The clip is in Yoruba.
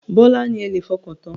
Bọ́lá ni ẹ lè fọkàntán.